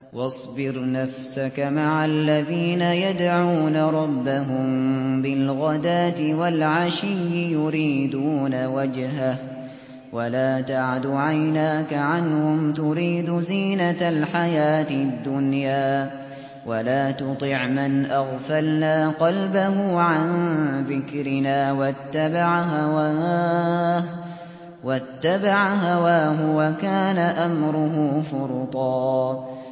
وَاصْبِرْ نَفْسَكَ مَعَ الَّذِينَ يَدْعُونَ رَبَّهُم بِالْغَدَاةِ وَالْعَشِيِّ يُرِيدُونَ وَجْهَهُ ۖ وَلَا تَعْدُ عَيْنَاكَ عَنْهُمْ تُرِيدُ زِينَةَ الْحَيَاةِ الدُّنْيَا ۖ وَلَا تُطِعْ مَنْ أَغْفَلْنَا قَلْبَهُ عَن ذِكْرِنَا وَاتَّبَعَ هَوَاهُ وَكَانَ أَمْرُهُ فُرُطًا